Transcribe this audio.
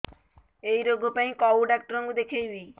ଏଇ ରୋଗ ପାଇଁ କଉ ଡ଼ାକ୍ତର ଙ୍କୁ ଦେଖେଇବି